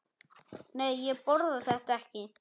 Nei, ég borða þetta ekki.